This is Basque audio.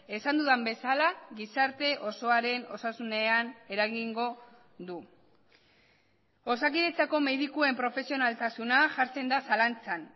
esan dudan bezala gizarte osoaren osasunean eragingo du osakidetzako medikuen profesionaltasuna jartzen da zalantzan